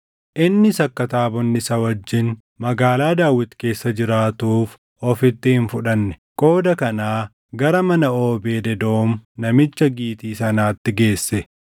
Innis akka taabonni isa wajjin Magaalaa Daawit keessa jiraatuuf ofitti hin fudhanne. Qooda kanaa gara mana Oobeed Edoom namicha Gitii sanaatti geesse.